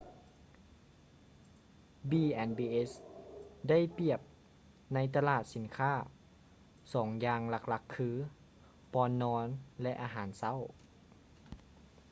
b&bs ໄດ້ປຽບໃນຕະຫຼາດສິນຄ້າສອງຢ່າງຫຼັກໆຄື: ບ່ອນນອນ ແລະ ອາຫານເຊົ້າ